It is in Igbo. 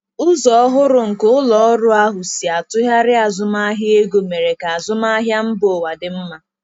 Ụzọ ọhụrụ nke ụlọ ọrụ ahụ si atụgharị azụmahịa ego mere ka azụmahịa mba ụwa dị mma.